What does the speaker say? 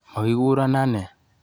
Mokikuro ane.